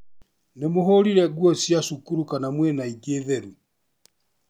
Nĩ mũhũrire nguo cia cukuru kana mwĩna ĩngĩ theru,